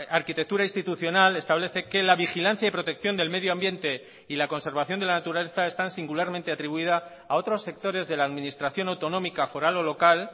arquitectura institucional establece que la vigilancia y protección del medioambiente y la conservación de la naturaleza están singularmente atribuida a otros sectores de la administración autonómica foral o local